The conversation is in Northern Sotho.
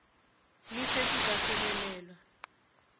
le se se ka fihelelwa